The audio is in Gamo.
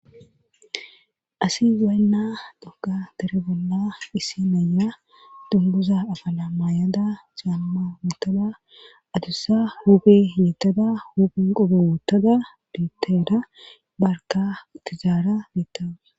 Asi weenna doka dare bolla isi naya dumbuza afala maayada jaamma wuttada adussa huubi yettada hupun qobo wuttada biitteda barka utizaara biettawa.